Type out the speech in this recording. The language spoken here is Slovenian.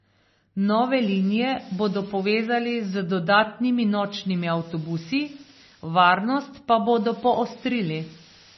Nove linije bodo povezali z dodatnimi nočnimi avtobusi, varnost pa bodo poostrili.